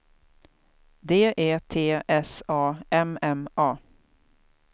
D E T S A M M A